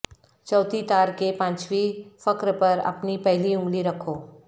چوتھی تار کے پانچویں فخر پر اپنی پہلی انگلی رکھو